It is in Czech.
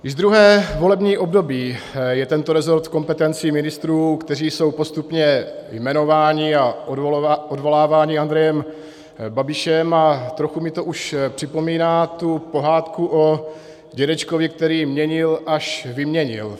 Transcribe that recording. Již druhé volební období je tento resort v kompetenci ministrů, kteří jsou postupně jmenováni a odvoláváni Andrejem Babišem, a trochu mi to už připomíná tu pohádku o dědečkovi, který měnil, až vyměnil.